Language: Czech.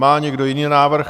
Má někdo jiný návrh?